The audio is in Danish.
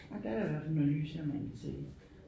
Orh der da i hvert fald noget lys her man kan se